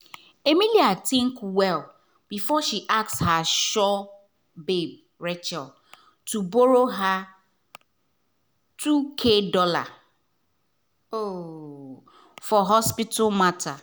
emily think well before she ask her sure babe rachel to borrow her two thousand dollar um for hospital matter.